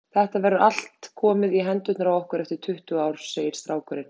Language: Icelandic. Þetta verður allt komið í hendurnar á okkur eftir tuttugu ár, segir strákurinn.